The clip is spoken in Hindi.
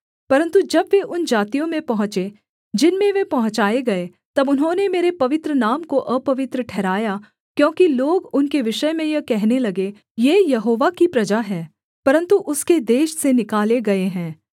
परन्तु जब वे उन जातियों में पहुँचे जिनमें वे पहुँचाए गए तब उन्होंने मेरे पवित्र नाम को अपवित्र ठहराया क्योंकि लोग उनके विषय में यह कहने लगे ये यहोवा की प्रजा हैं परन्तु उसके देश से निकाले गए हैं